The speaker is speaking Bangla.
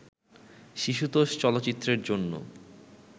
শিশুতোষ চলচ্চিত্রের জন্য